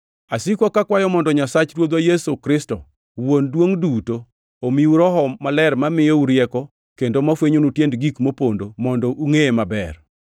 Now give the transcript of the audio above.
Asiko kakwayo mondo Nyasach Ruodhwa Yesu Kristo, Wuon duongʼ duto omiu Roho Maler mamiyou rieko kendo mafwenyonu tiend gik mopondo mondo ungʼeye maber.